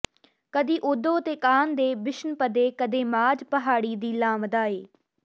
ਕਦੀ ਉਧੋ ਤੇ ਕਾਨ੍ਹ ਦੇ ਬਿਸ਼ਨਪਦੇ ਕਦੇ ਮਾਝ ਪਹਾੜੀ ਦੀ ਲਾਂਵਦਾ ਏ